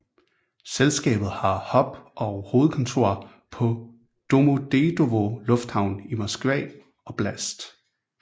Selskabet har hub og hovedkontor på Domodedovo Lufthavn i Moskva oblast